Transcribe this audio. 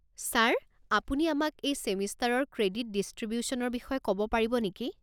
Sir, আপুনি আমাক এই ছেমিষ্টাৰৰ ক্ৰেডিট ডিষ্ট্ৰিবিউশ্যনৰ বিষয়ে ক'ব পাৰিব নেকি?